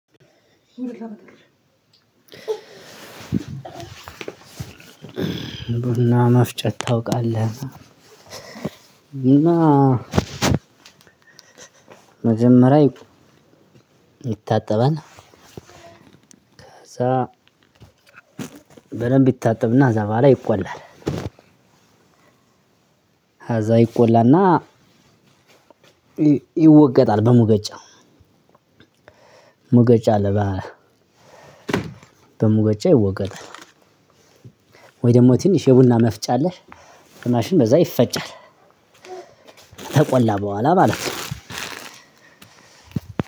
ቡና መፍጨት ታውቃለህ። እና መጀመሪያ ይታጠባል ከዛ በደንብ ይታጠብና እዛ በኋላ ይቆላል። እዛ ይቆላና ይወቀጣል በሙቀጫው ሙቀጫ አለ በ በሙቀጫ ይወቀጣል ወይ ደግሞ ትንሽ የቡና መፍጫ አለህ? በማሽን በዛ ይፈጫል። ተቆላ በኋላ ማለት ነው።